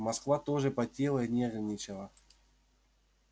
москва тоже потела и нервничала